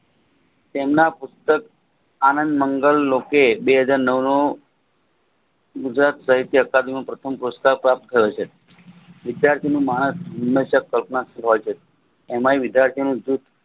તેમના પુસ્તક આનંદ મંગલ બે હાજર નવનો ગુજરાત સાહિત્યનું પ્રથમ પુસ્તક વિદ્યાર્થીને માણસ ટોપમાંજ કહેવાય છે એમાંય વિદ્યાર્થીનું